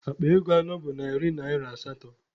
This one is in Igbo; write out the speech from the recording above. Akpa ego anọ bụ narị naịra asatọ.